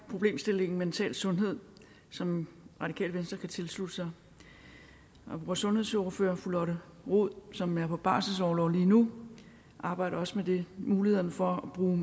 problemstillingen mental sundhed som radikale venstre kan tilslutte sig vores sundhedsordfører fru lotte rod som er på barselsorlov lige nu arbejdede også med mulighederne for at bruge